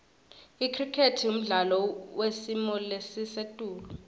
icricket mdlalo wesimolesisetulu